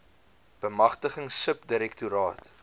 bemagtiging sub direktoraat